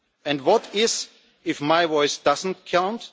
And what if my voice does not count?